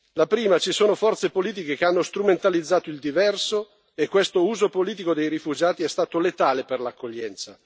La prima ci sono forze politiche che hanno strumentalizzato il diverso, e questo uso politico dei rifugiati è stato letale per l'accoglienza.